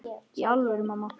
Í alvöru, mamma.